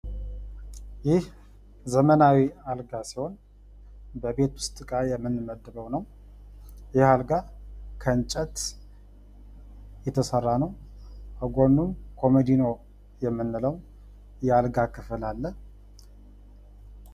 ይህ ዘመናዊ አልጋ ሲሆን በቤት ውስጥ እቃ የምንመድበው ነው ። ይህ አልጋ ከእንጨት የተሰራ ነው ። ከጎኑም ኮመዲኖ የምንለው የአልጋ ክፍል አለ።